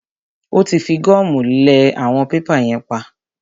Ó tí fi gọ́mù lẹ àwọn pépà yẹn pap.